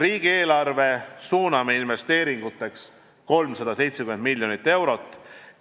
Riigieelarve kaudu suuname investeeringuteks 370 miljonit eurot.